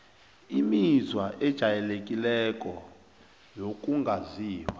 imizwa ejayelekileko wokungazizwa